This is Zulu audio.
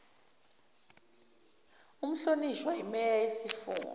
umhlonishwa imeya yesifunda